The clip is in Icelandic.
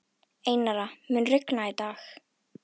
Einara, mun rigna í dag?